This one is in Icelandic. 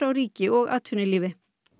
ríki og atvinnulífi